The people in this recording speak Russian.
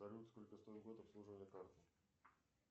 салют сколько стоит год обслуживания карты